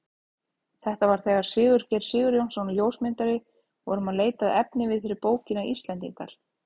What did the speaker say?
Þetta var þegar við Sigurgeir Sigurjónsson ljósmyndari vorum að leita að efniviði fyrir bókina Íslendingar.